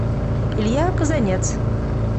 илья казанец